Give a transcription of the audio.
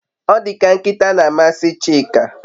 Odika nkita na amasi Chika